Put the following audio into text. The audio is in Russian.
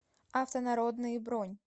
автонародные бронь